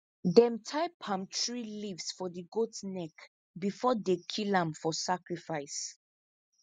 them tie palm tree leaves for the goat neck before they kill am for sacrifice